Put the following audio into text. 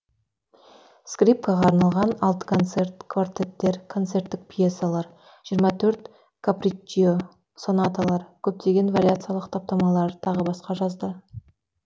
скрипкаға арналған алты концерт квартеттер концерттік пьесалар жиырма төрт каприччио сонаталар көптеген вариациялық таптамалар тағы басқа жазды